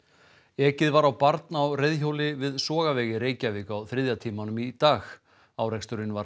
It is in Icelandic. ekið var á barn á reiðhjóli við Sogaveg í Reykjavík á þriðja tímanum í dag áreksturinn var